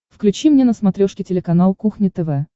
включи мне на смотрешке телеканал кухня тв